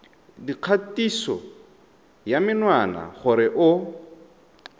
dikgatiso ya menwana gore o